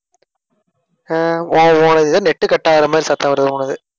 ஆஹ் உன் உன் இது net cut ஆகுற மாதிரி சத்தம் வருது உன்னோடது